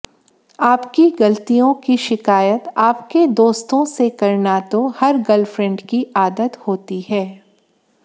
आपकी गलतियों की शिकायत आपके दोस्तों से करना तो हर गर्लफ्रेंड की आदत होती है